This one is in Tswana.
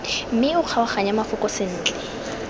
mme o kgaoganye mafoko sentle